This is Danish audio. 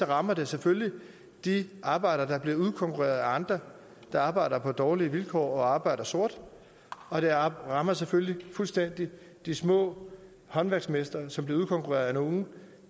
rammer det selvfølgelig de arbejdere der bliver udkonkurreret af andre der arbejder på dårligere vilkår og arbejder sort og det rammer selvfølgelig fuldstændig de små håndværksmestre som bliver udkonkurreret af nogle